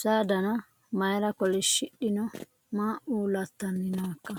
saa dana mayra kolishshidhino maa ulattanni nooikka